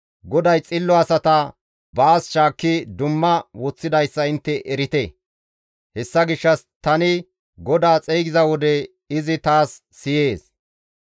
GODAY xillo asata baas shaakki dumma woththidayssa intte erite; hessa gishshas tani GODAA xeygiza wode izi taas siyees.